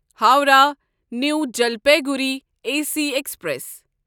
Howrah new Jalpaiguri A C express